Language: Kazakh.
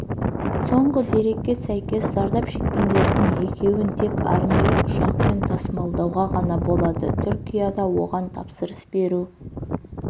соңғы дәрекке сәйкес зардап шеккендердің екеуін тек арнайы ұшақпен тасымалдауға ғана болады түркияда оған тапсырыс беру